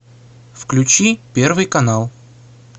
включи первый канал